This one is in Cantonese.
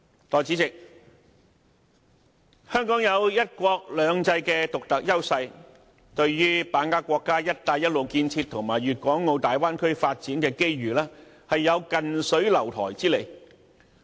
代理主席，香港有"一國兩制"的獨特優勢，對於把握國家"一帶一路"建設和大灣區發展的機遇，有近水樓台之利。